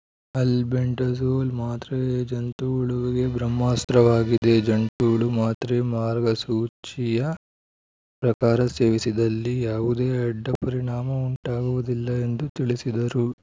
albendazole ಮಾತ್ರೆ ಜಂತುಹುಳುವಿಗೆ ಬ್ರಹ್ಮಾಸ್ತ್ರ ವಾಗಿದೆ ಜಂತುಹುಳು ಮಾತ್ರೆ ಮಾರ್ಗಸೂಚಿಯ ಪ್ರಕಾರ ಸೇವಿಸಿದಲ್ಲಿ ಯಾವುದೇ ಅಡ್ಡಪರಿಣಾಮ ಉಂಟಾಗುವುದಿಲ್ಲ ಎಂದು ತಿಳಿಸಿದರು